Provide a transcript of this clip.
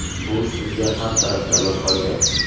Bu sizga har taraflama foyda.